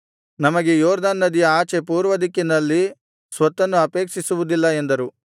ನಮಗೆ ಯೊರ್ದನ್ ನದಿಯ ಆಚೆ ಪೂರ್ವ ದಿಕ್ಕಿನಲ್ಲಿ ಸ್ವತ್ತನ್ನು ಅಪೇಕ್ಷಿಸುವುದಿಲ್ಲ ಎಂದರು